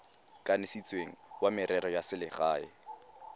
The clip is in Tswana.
kanisitsweng wa merero ya selegae